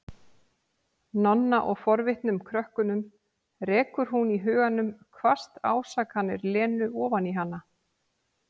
Nonna og forvitnum krökkunum, rekur hún í huganum hvasst ásakanir Lenu ofan í hana.